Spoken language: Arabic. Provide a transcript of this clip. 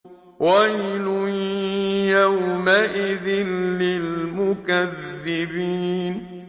وَيْلٌ يَوْمَئِذٍ لِّلْمُكَذِّبِينَ